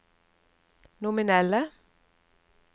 nominelle